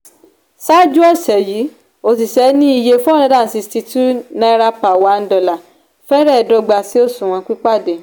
ṣáájú ọ̀sẹ̀ yìí òṣìṣẹ́ ní iye four hundred and sixty two naira per one dollar fẹ̀rẹ̀ dọ́gba sí òṣùwọ̀n pípadé